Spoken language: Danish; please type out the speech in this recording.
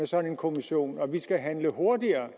sådan kommission og at vi skal handle hurtigere